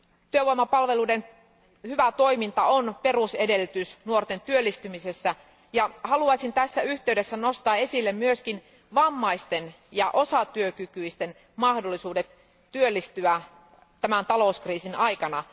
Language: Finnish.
Työvoimapalveluiden hyvä toiminta on perusedellytys nuorten työllistymisessä, ja haluaisin tässä yhteydessä nostaa esille myös vammaisten ja osatyökykyisten mahdollisuudet työllistyä tämän talouskriisin aikana.